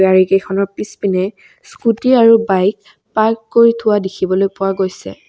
গাড়ী কেইখনৰ পিছপিনে স্কুটী আৰু বাইক পাৰ্ক কৰি থোৱা দেখিবলৈ পোৱা গৈছে।